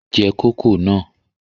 Je kòkó náà!